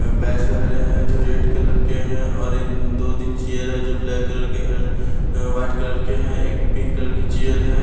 Batch वगैरह है जो रेड कलर के हैं और इन दो तीन चेयर है जो ब्लैक कलर के एंड वाइट कलर के हैं एक पिंक कलर के चेयर है।